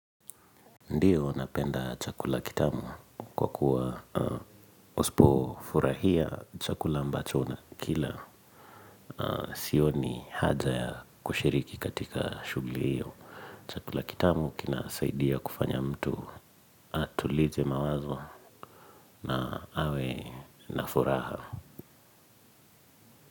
Ndiyo napenda chakula kitamu kwa kuwa usipo furahia chakula ambacho unakila sioni haja ya kushiriki katika shugli hiyo. Chakula kitamu kinasaidia kufanya mtu atulize mawazo na awe na furaha.